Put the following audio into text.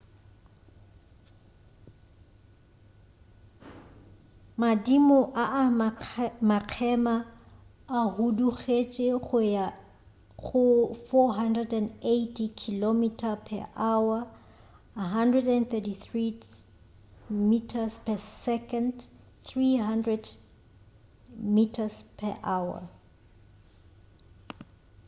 madimo a a makgema a hudugetše go ya go 480 km/h 133 m/s; 300 mph